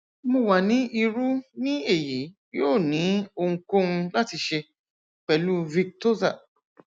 mo wa ni iru ni eyi yoo ni ohunkohun lati ṣe pẹlu victoza